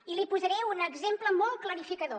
i li posaré un exemple molt clarificador